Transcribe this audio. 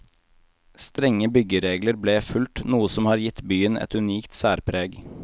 Strenge byggeregler ble fulgt, noe som har gitt byen et unikt særpreg.